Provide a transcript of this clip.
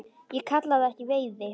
Ég kalla það ekki veiði.